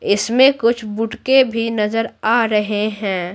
इसमें कुछ बुटके भी नजर आ रहे हैं।